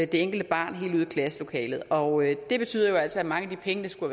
det enkelte barn helt ud i klasselokalet og det betyder jo altså at mange af de penge der skulle